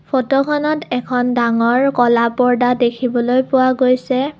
ফটোখনত এখন ডাঙৰ ক'লা পৰ্দ্দা দেখিবলৈ পোৱা গৈছে।